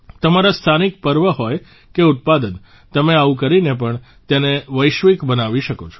તમારા સ્થાનિક પર્વ હોય કે ઉત્પાદન તમે આવું કરીને પણ તેને વૈશ્વિક બનાવી શકો છો